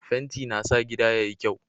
Fenti na sa gida yayi kyau.